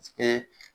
Kɛ